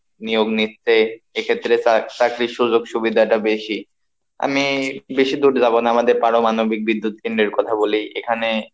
নিয়োগ নিচ্ছে এক্ষেত্রে চাকরির সুযোগ সুবিধাটা বেশি, আমি বেশি দূর যাব না, আমাদের পারমানবিক বিদ্যুৎ কেন্দ্রের কথা বলি, এখানে,